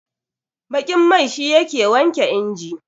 baƙin mai shi yake wanke inji